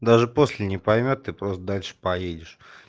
даже после не поймёт ты просто дальше поедешь